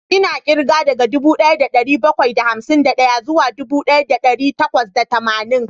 Ina kirga daga dubu daya da dari bakwai da hamsin da daya zuwa dubu daya da dari takwas da tamanin